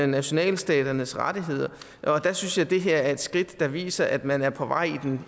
nationalstaternes rettigheder og der synes jeg at det her er et skridt der viser at man er på vej